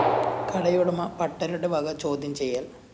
കടയുടമ പട്ടരുടെ വക ചോദ്യം ചെയ്യല്‍